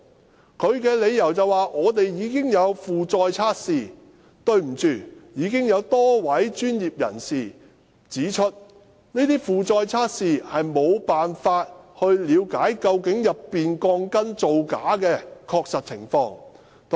港鐵公司的理由是，他們已經有負載測試，但多位專業人士已指出，這些負載測試沒辦法了解鋼筋造假的確實情況。